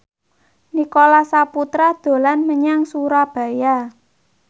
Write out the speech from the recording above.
Nicholas Saputra dolan menyang Surabaya